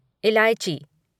इलायची